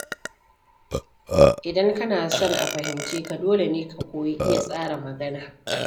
Idan kana son a fahimce ka, dole ne ka koyi iya tsara magana.